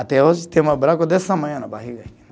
Até hoje, tenho uma desse tamanho na barriga.